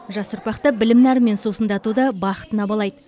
жас ұрпақты білім нәрімен сусындатуды бақытына балайды